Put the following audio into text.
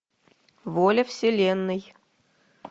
воля вселенной